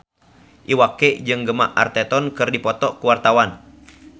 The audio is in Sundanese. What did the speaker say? Iwa K jeung Gemma Arterton keur dipoto ku wartawan